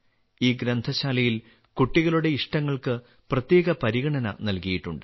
ഈ ഗ്രന്ഥശാലയിൽ കുട്ടികളുടെ ഇഷ്ടങ്ങൾക്ക് പ്രത്യേക പരിഗണന നല്കിയിട്ടുണ്ട്